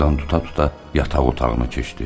Divardan tuta-tuta yataq otağına keçdi.